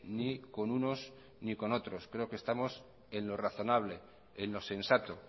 ni con unos ni con otros creo que estamos en lo razonable en lo sensato